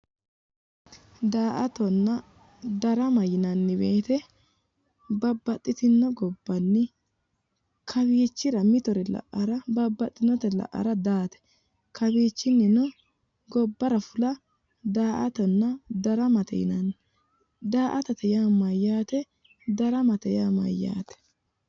Daa'attonna darama yinnanni woyte babbaxitino gobbanni kawichira mittore la"ara daate, kawichini gobbara fulano daa"attonna darama yinnanni .daa"attate yaa mayat, daramate yaa mayate?